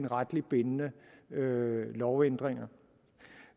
retligt bindende lovændringer